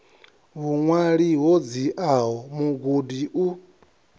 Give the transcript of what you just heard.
vhuṅwali ho dziaho mugudi u